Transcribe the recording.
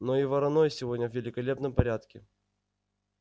но и вороной сегодня в великолепном порядке